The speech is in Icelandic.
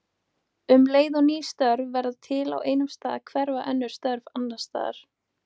Um leið og ný störf verða til á einum stað hverfa önnur störf annars staðar.